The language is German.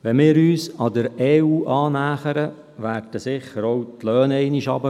Wenn wir uns der EU annähern, werden sicher die Löhne einmal sinken.